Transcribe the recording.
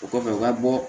O kɔfɛ u ka bɔ